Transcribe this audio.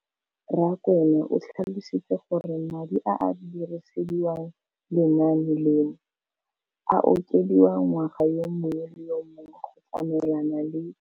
Rakwena o tlhalositse gore madi a a dirisediwang lenaane leno a okediwa ngwaga yo mongwe le yo mongwe go tsamaelana le